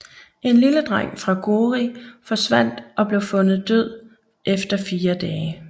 En lille dreng fra Gori forsvandt og blev fundet død efter fire dage